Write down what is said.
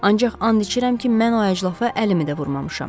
Ancaq and içirəm ki, mən o əclafa əlimi də vurmamışam.